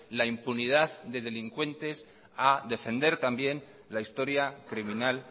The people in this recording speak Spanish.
la impunidad de delincuentes a defender también la historia criminal